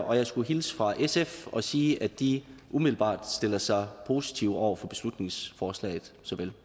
og jeg skulle hilse fra sf og sige at de umiddelbart også stiller sig positive over for beslutningsforslaget